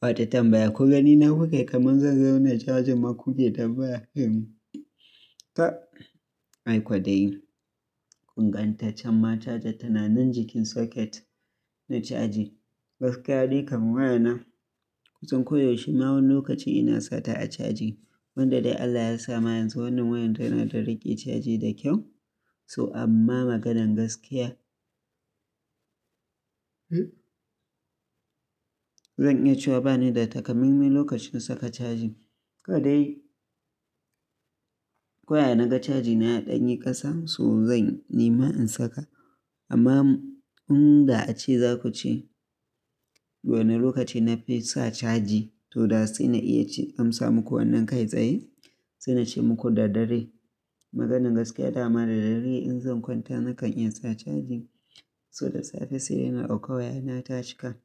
Wata tambaya, ku gani na kuke kamar zan zama mai cajar makuke tambaya kenan taɓ Ai kodai. Kun gantacen ma cajar tana nan jikin socket na caji. Gaskiya dai kamar waya na, kusan ko yaushe ma wani lokaci ina sata a caji. Wanda dai Allah ya sa ma yanzu wannan wayan tana da rike caji da kyau. So amma maganan gaskiya, zan iya cewa bani da takamaiman lokacin saka caji. Kawai dai. Ko ya na ga caji na ya danyi ƙasa so zan nema in saka. Amma in da a ce za ku ce wane lokaci na fi sa caji to da sai na iya amsa muku wannan kai tsaye, sai na ce muku da dare. Maganan gaskiya dama da dare in zan kwanta nakan iya sa caji. So da safe sai na ɗauka waya ina tashi kan